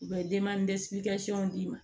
U bɛ d'i ma